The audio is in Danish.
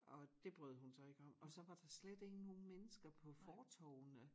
Og det brød hun sig ikke om og så var der slet ikke nogen mennesker på fortovene